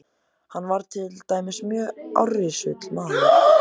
Hann var til dæmis mjög árrisull maður.